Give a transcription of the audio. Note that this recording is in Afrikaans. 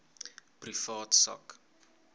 privaat sak